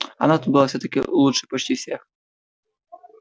она тут была всё-таки лучше почти всех